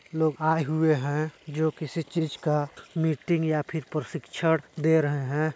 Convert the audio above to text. लोग आये हुए हैं जो किसी चीज का मीटिंग या फिर प्रशिक्षण दे रहे हैं।